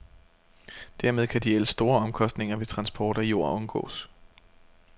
Dermed kan de ellers store omkostninger ved transport af jord undgås.